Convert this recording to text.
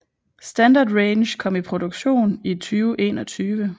Standard Range kom i produktion i 2021